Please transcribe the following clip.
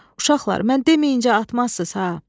Uşaqlar, mən deməyincə atmazsız ha?